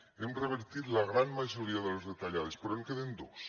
hem revertit la gran majoria de les retallades però en queden dos